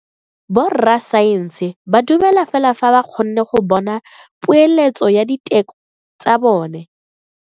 Borra saense ba dumela fela fa ba kgonne go bona poeletso ya diteko tsa bone.